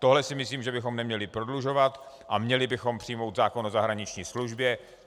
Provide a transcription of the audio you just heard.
Tohle si myslím, že bychom neměli prodlužovat a měli bychom přijmout zákon o zahraniční službě.